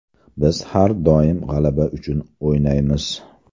Biz har doim g‘alaba uchun o‘ynaymiz.